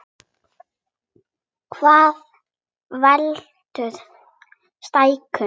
Hvað veldur stækkun á vöðvum?